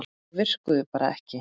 Þau virkuðu bara ekki.